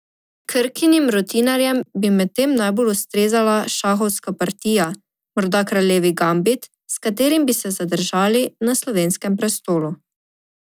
Krkinim rutinerjem bi medtem najbolj ustrezala šahovska partija, morda kraljevi gambit, s katerim bi se zadržali na slovenskem prestolu.